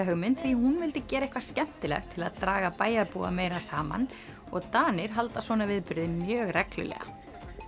hugmynd því hún vildi gera eitthvað skemmtilegt til að draga bæjarbúa meira saman og Danir halda svona viðburði mjög reglulega